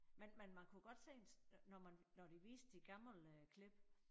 Men men man kunne godt se en når man når de viste de gammel klip